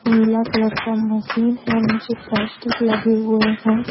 नीला colour का machine है नीचे प्लास्टिक लगे हुए हैं।